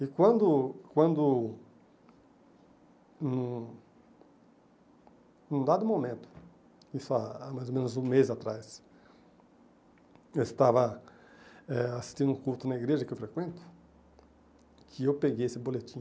E quando quando, num em um dado momento, isso há mais ou menos um mês atrás, eu estava eh assistindo um culto na igreja que eu frequento, que eu peguei esse boletim,